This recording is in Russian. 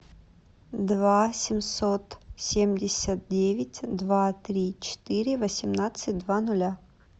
два семьсот семьдесят девять два три четыре восемнадцать два нуля